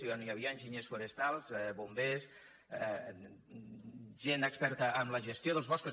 i on hi havia enginyers forestals bombers gent experta en la gestió dels boscos